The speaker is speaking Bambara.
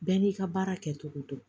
Bɛɛ n'i ka baara kɛcogo don